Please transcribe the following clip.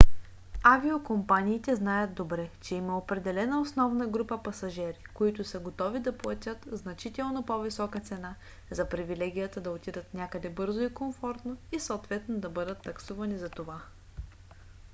авиокомпаниите знаят добре че има определена основна група пасажери които са готови да платят значително по-висока цена за привилегията да отидат някъде бързо и комфортно и съответно да бъдат таксувани затова